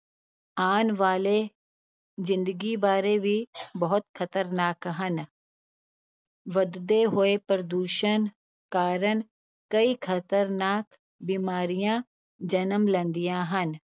ਆਉਣ ਵਾਲੇ ਜ਼ਿੰਦਗੀ ਬਾਰੇ ਵੀ ਬਹੁਤ ਖ਼ਤਰਨਾਕ ਹਨ ਵਧਦੇ ਹੋਏ ਪ੍ਰਦੂਸ਼ਣ ਕਾਰਨ ਕਈ ਖ਼ਤਰਨਾਕ ਬਿਮਾਰੀਆਂ ਜਨਮ ਲੈਂਦੀਆਂ ਹਨ।